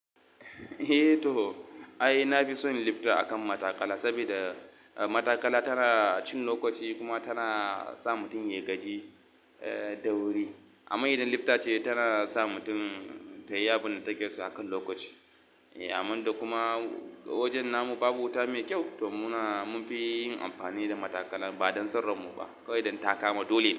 Eh to. Ai na fi son lifta akan matakala, sabida, eh matakala tana cin lokaci kuma tana sa mutum ya gaji, eh da wuri. Amma idan lifta ce tana sa mutum ta yi yabun da take so akan lokaci. Eh aman da kuma wajen namu babu wuta mai kyau to muna mun fi yi amfani da matakala ba don son ran mu ba, kawai don taka ma dole.